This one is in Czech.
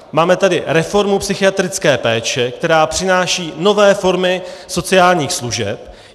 Máme tady reformu psychiatrické péče, která přináší nové formy sociálních služeb.